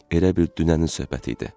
Elə bil dünənin söhbəti idi.